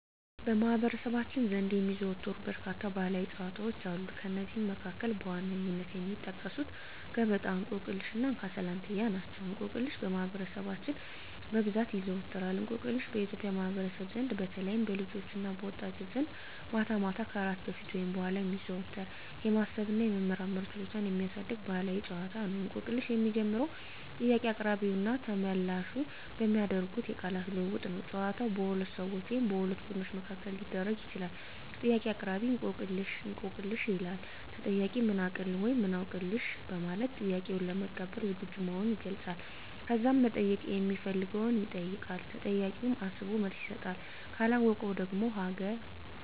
በማኅበረሰባችን ዘንድ የሚዘወተሩ በርካታ ባሕላዊ ጨዋታዎች አሉ። ከእነዚህም መካከል በዋነኝነት የሚጠቀሱት ገበጣ፣ እንቆቅልሽ እና እንካ ስላንትያ ናቸው። እንቆቅልሽ በማህበረሰባችን በብዛት ይዘዎተራል። እንቆቅልሽ በኢትዮጵያ ማኅበረሰብ ዘንድ በተለይም በልጆችና በወጣቶች ዘንድ ማታ ማታ ከእራት በፊት ወይም በኋላ የሚዘወተር፣ የማሰብ እና የመመራመር ችሎታን የሚያሳድግ ባሕላዊ ጨዋታ ነው። እንቆቅልሽ የሚጀምረው ጥያቄ አቅራቢውና ተመልላሹ በሚያደርጉት አጭር የቃላት ልውውጥ ነው። ጨዋታው በሁለት ሰዎች ወይም በሁለት ቡድኖች መካከል ሊደረግ ይችላል። ጥያቄ አቅራቢ፦ "እንቆቅልህ/ሽ?" ይላል። ተጠያቂው፦ "ምን አውቅልህ?" (ወይም "አውቅልሽ") በማለት ጥያቄውን ለመቀበል ዝግጁ መሆኑን ይገልጻል። ከዛም መጠየቅ ሚፈልገውን ይጠይቃል። ተጠያቂውም አስቦ መልስ ይሰጣል። ካለወቀው ደግሞ ሀገ